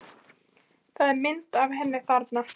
Það er mynd af henni þarna.